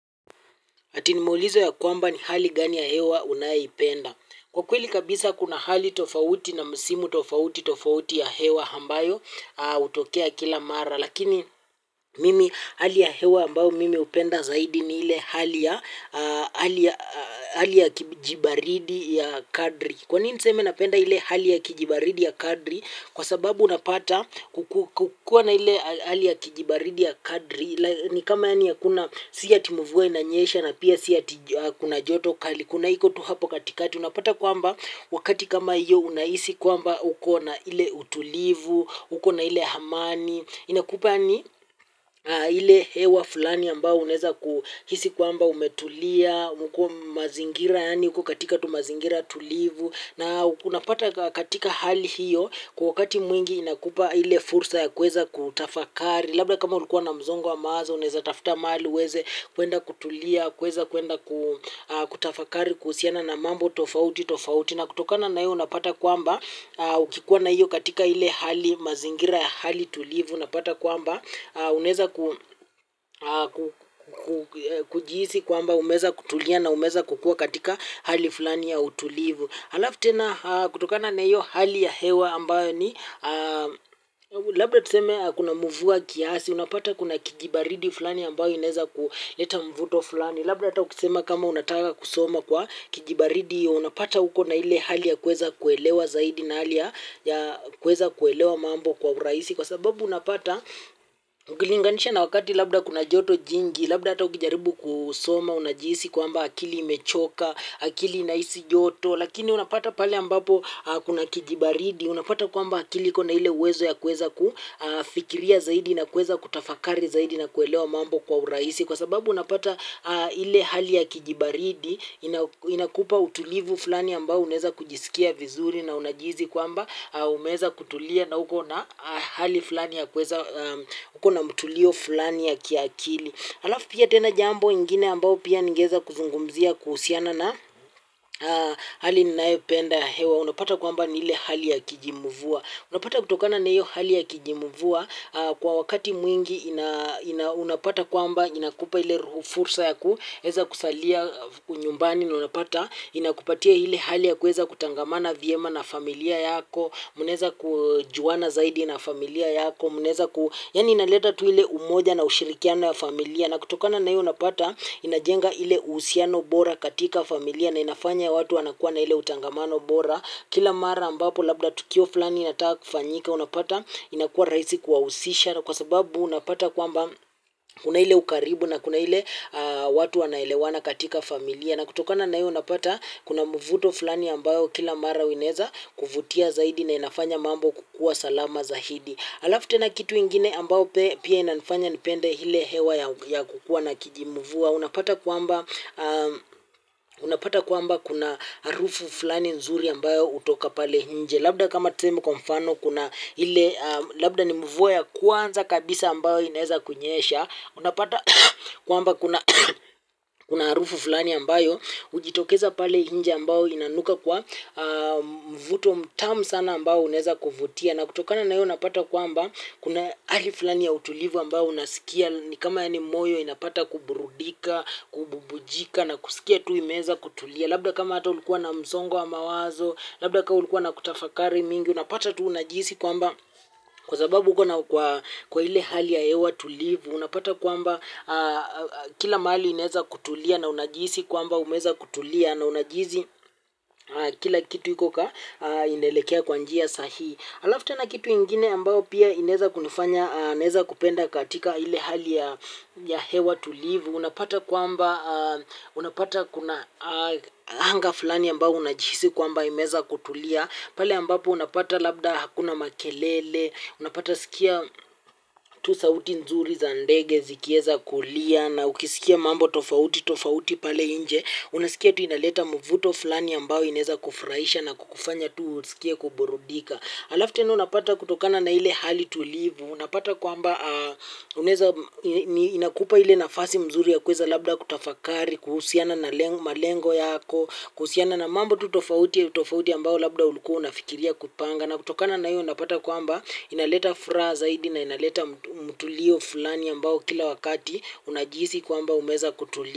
Eti nimeulizwa ya kwamba, ni hali gani ya hewa unayoipenda? Kwa kweli kabisa kuna hali tofauti na misimu tofauti tofauti ya hewa ambayo hutokea kila mara. Lakini mimi hali ya hewa ambayo mimi hupenda zaidi ni ile hali ya hali ya hali ya kijibaridi ya kadiri. Kwa nini niseme napenda ile hali ya kijibaridi ya kadiri? Kwa sababu unapata kukiwa na ile hali ya kijibaridi ya kadiri ni kama yaani hakuna si ati mvua inanyesha na pia si ati kuna joto kali kuna iko tu hapo katikati unapata kwamba wakati kama hiyo unahisi kwamba uko na ile utulivu, uko na ile amani inakupa yaani ile hewa fulani ambayo unaweza kuhisi kwamba umetulia umekuwa mazingira yaani uko katika tu mazingira tulivu na unapata katika hali hiyo kwa wakati mwingi inakupa ile fursa ya kuweza kutafakari labda kama ulikuwa na msongo wa mawazo unaweza tafuta mahali uweze kwenda kutulia, kuweza kwenda kutafakari kuhusiana na mambo tofauti tofauti. Na kutokana na hiyo unapata kwamba ukikuwa na hiyo katika ile hali mazingira ya hali tulivu unapata kwamba unaweza kujihisi kwamba umeweza kutulia na umeweza kukuwa katika hali fulani ya utulivu. Halafu tena kutokana na hiyo hali ya hewa ambayo ni, labda tuseme kuna mvua kiasi, unapata kuna kijibaridi fulani ambayo inaweza kuleta mvuto fulani, labda hata ukisema kama unataka kusoma kwa kijibaridi hiyo, unapata uko na ile hali ya kuweza kuelewa zaidi na hali ya ya kuweza kuelewa mambo kwa urahisi, kwa sababu unapata, ukilinganisha na wakati labda kuna joto jingi, labda hata ukijaribu kusoma, unajihisi kwamba akili imechoka, akili inahisi joto. Lakini unapata pale ambapo kuna kijibaridi, unapata kwamba akili iko na ile uwezo ya kuweza kufikiria zaidi na kuweza kutafakari zaidi na kuelewa mambo kwa urahisi kwa sababu unapata ile hali ya kijibaridi inakupa utulivu fulani ambao unaweza kujisikia vizuri na unajihisi kwamba umeweza kutulia na uko na hali fulani ya kuweza uko na mtulio fulani ya kiakili. Halafu pia tena jambo ingine ambao pia ningeweza kuzungumzia kuhusiana na hali ninayopenda ya hewa. Unapata kwamba ni ile hali ya kijimvua. Unapata kutokana na hiyo hali ya kijimvua kwa wakati mwingi unapata kwamba inakupa ile fursa ya kuweza kusalia nyumbani na unapata inakupatia ile hali ya kuweza kutangamana vyema na familia yako. Mnaweza kujuana zaidi na familia yako. Mnaweza, yaani inaleta tu ile umoja na ushirikiano ya familia. Na kutokana na hiyo unapata inajenga ile uhusiano bora katika familia na inafanya watu wanakuwa na ile utangamano bora kila mara ambapo labda tukio fulani inataka kufanyika unapata inakuwa rahisi kuwahusisha kwa sababu unapata kwamba kuna ile ukaribu na kuna ile watu wanaelewana katika familia. Na kutokana na hiyo unapata kuna mvuto fulani ambayo kila mara inaweza kuvutia zaidi na inafanya mambo kukuwa salama zaidi. Halafu tena kitu ingine ambayo pia inanifanya nipende ile hewa ya kukuwa na kijimvua unapata kwamba unapata kwamba kuna harufu fulani nzuri ambayo hutoka pale nje. Labda kama tuseme kwa mfano kuna ile labda ni mvua ya kwanza kabisa ambayo inaweza kunyesha unapata kwamba kuna kuna harufu fulani ambayo hujitokeza pale nje ambayo inanuka kwa mvuto mtamu sana ambao unaweza kuvutia na kutokana na hiyo unapata kwamba kuna hali fulani ya utulivu ambayo unasikia ni kama yaani moyo inapata kuburudika kububujika na kusikia tu imeweza kutulia labda kama hata ulikuwa na msongo wa mawazo labda kama ulikuwa na kutafakari mingi unapata tu unajihisi kwamba kwa sababu uko na kwa ile hali ya hewa tulivu unapata kwamba kila mahali inaweza kutulia na unajihisi kwamba umeweza kutulia na unajihisi kila kitu iko inaelekea kwa njia sahihi. Halafu tena kitu ingine ambayo pia inaweza kunifanya naweza kupenda katika ile hali ya ya hewa tulivu unapata kwamba unapata kuna anga fulani ambayo unajihisi kwamba imeweza kutulia. Pale ambapo unapata labda hakuna makelele, unapata sikia tu sauti nzuri za ndege zikiweza kulia na ukisikia mambo tofauti tofauti pale nje, unasikia tu inaleta mvuto fulani ambao inaweza kufurahisha na kukufanya tu usikie kuburudika. Halafu tena unapata kutokana na ile hali tulivu, unapata kwamba unaweza inakupa ile nafasi mzuri ya kuweza labda kutafakari kuhusiana na malengo yako, kuhusiana na mambo tu tofauti tofauti ambayo labda ulikuwa unafikiria kupanga na kutokana na hiyo unapata kwamba inaleta furaha zaidi na inaleta mtulio fulani ambao kila wakati unajihisi kwamba umeweza kutulia.